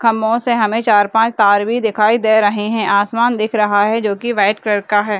खम्भों से हमें चार पांच तार भी दिखाई दे रहे है आसमान दिख रहा है जो कि व्हाइट कलर का है।